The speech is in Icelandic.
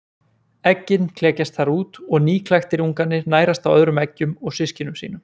Eggin klekjast þar út og nýklaktir ungarnir nærast á öðrum eggjum og systkinum sínum.